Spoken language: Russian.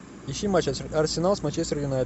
ищи матч арсенал с манчестер юнайтед